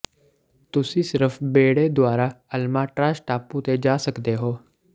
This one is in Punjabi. ਤੁਸੀਂ ਸਿਰਫ ਬੇੜੇ ਦੁਆਰਾ ਅਲਮਾਟ੍ਰਾਜ਼ ਟਾਪੂ ਤੇ ਜਾ ਸਕਦੇ ਹੋ